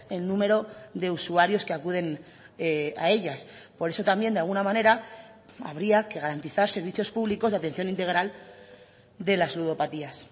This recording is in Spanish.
el número de usuarios que acuden a ellas por eso también de alguna manera habría que garantizar servicios públicos de atención integral de las ludopatías